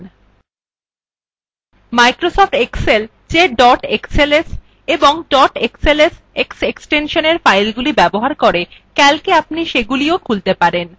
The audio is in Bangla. microsoft excel যে dot xls এবং dot xlsx এক্সটেনশনের ফাইলগুলি ব্যবহার করে calcএ আপনি সেগুলিও খুলতে পারেন